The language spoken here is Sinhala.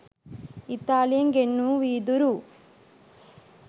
ඉතාලියෙන් ගෙන්වූ වීදුරු